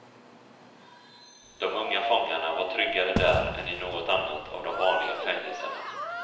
De unga fångarna var tryggare där än i något annat av de vanliga fängelserna.